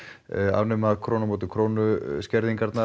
afnema krónu á móti krónu skerðingarnar